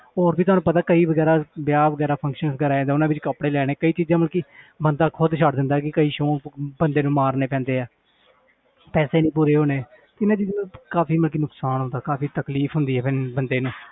ਹੋਰ ਵੀ ਤੁਹਾਨੂੰ ਪਤਾ ਕਈ ਵਗ਼ੈਰਾ ਵਿਆਹ ਵਗ਼ੈਰਾ functions ਵਗ਼ੈਰਾ ਆ ਜਾਂਦੇ ਆ ਉਹਨਾਂ ਦੇ ਕੱਪੜੇ ਲੈਣੇ ਕਈ ਚੀਜ਼ਾਂ ਮਤਲਬ ਕਿ ਬੰਦਾ ਖੁੱਦ ਛੱਡ ਦਿੰਦਾ ਹੈ ਕਿ ਕਈ ਸ਼ੌਂਕ ਬੰਦੇ ਨੂੰ ਮਾਰਨੇ ਪੈਂਦੇ ਹੈ ਪੈਸੇ ਹੀ ਨੀ ਪੂਰੇ ਹੋਣੇ ਕਿੰਨਾਂ ਚੀਜ਼ਾਂ ਦਾ ਕਾਫ਼ੀ ਮਤਲਬ ਕਿ ਨੁਕਸਾਨ ਹੁੰਦਾ ਕਾਫ਼ੀ ਤਕਲੀਫ਼ ਹੁੰਦੀ ਹੈ ਬੰ~ ਬੰਦੇ ਨੂੰ